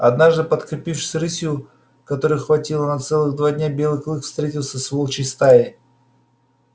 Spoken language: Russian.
однажды подкрепившись рысью которой хватило на целых два дня белый клык встретился с волчьей стаей